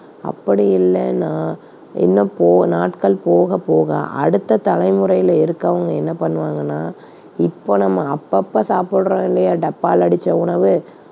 அப்படி இல்லன்னா இன்னும் போ~ நாட்கள் போகப்போக அடுத்த தலைமுறையில இருக்கவங்க என்ன பண்ணுவாங்கன்னா இப்ப நம்ம அப்பப்ப சாப்பிடுறோம் இல்லையா டப்பால அடைத்த உணவு